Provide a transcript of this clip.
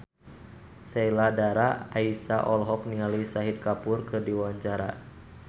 Sheila Dara Aisha olohok ningali Shahid Kapoor keur diwawancara